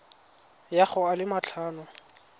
ya go a le matlhano